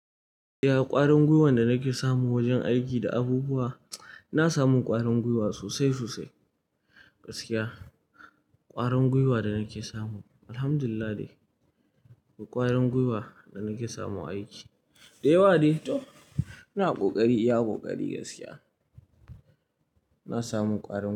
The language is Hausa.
Ya ƙwarin gwiwan da nake samu wajen aiki da abubuwa, na samu ƙwarin gwiwa sosai sosai gaskiya. Kwarin gwiwa da nake samu Alhamdulillah dai. Ƙwarin gwiwa da nake samu a aiki. Da yawa dai toh, ina ƙoƙari, iya ƙoƙari gaskiya. Na samu ƙwarin.